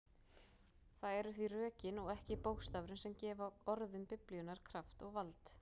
Það eru því rökin og ekki bókstafurinn sem gefa orðum Biblíunnar kraft og vald.